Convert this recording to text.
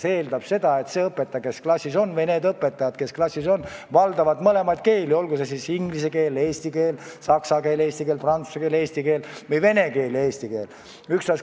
See tähendab seda, et need õpetajad, kes klassis on, valdavad mõlemaid keeli, olgu inglise keelt ja eesti keelt, saksa keelt ja eesti keelt, prantsuse keelt ja eesti keelt või vene keelt ja eesti keelt.